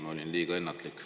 Ma olin liiga ennatlik.